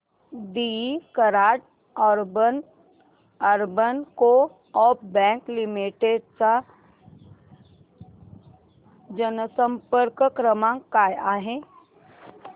दि Karad urban co-op bank limited चा जनसंपर्क क्रमांक काय आहे